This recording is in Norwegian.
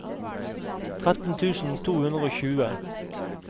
tretten tusen to hundre og tjue